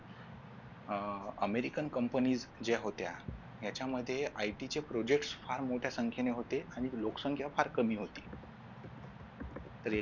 अह American Company ज्या होत्या याच्यामध्ये IT चे Project फार मोठ्या संख्येने होते आणि लोकसंख्या फार कमी होत्या रे